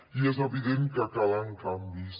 i és evident que calen canvis